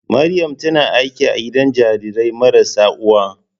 Maryam tana aiki a gidan jarirai marasa uwa.